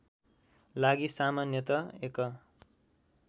लागि सामान्यत एक